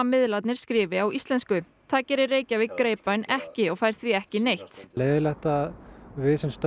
miðlarnir skrifi á íslensku það gerir Reykjavík ekki og fær því ekki neitt leiðinlegt að við sem